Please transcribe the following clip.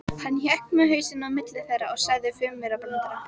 Hann hékk með hausinn á milli þeirra og sagði fimmaurabrandara.